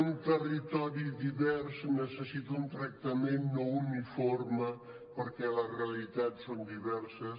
un territori divers necessita un tractament no uniforme perquè les realitats són diverses